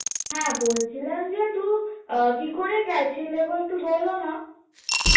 হ্যাঁ বলছিলাম যে টু আহ কী করে গেছিলে গো একটু বলো না